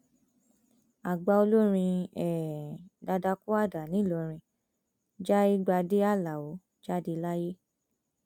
àgbà olórin um dadakuada nìlọrin jaigbade alao jáde láyé